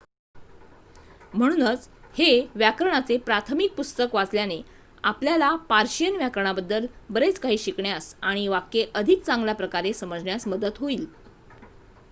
म्हणूनच हे व्याकरणाचे प्राथमिक पुस्तक वाचल्याने आपल्याला पर्शियन व्याकरणाबद्दल बरेच काही शिकण्यास आणि वाक्ये अधिक चांगल्याप्रकारे समजण्यास मदत होईल